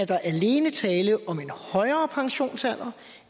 der alene er tale om en højere pensionsalder